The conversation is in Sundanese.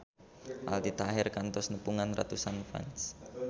Aldi Taher kantos nepungan ratusan fans